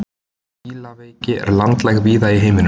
fílaveiki er landlæg víða í heiminum